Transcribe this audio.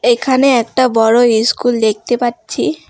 এখানে একটা বড়ো ইস্কুল দেখতে পাচ্ছি।